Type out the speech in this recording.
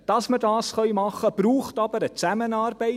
Damit wir das machen können, braucht es eine Zusammenarbeit.